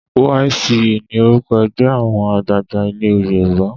YCE ni orúkọ ẹgbẹ́ àwọn àgbààgbà ilé Yorùbá.